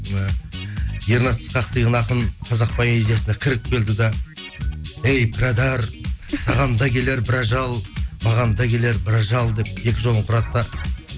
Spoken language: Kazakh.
і ернат ысқақов деген ақын қазақ поэзиясына кіріп келді де әй пірадар ханға келер бір ажал маған да келер бір ажал деп екі жолын құрады да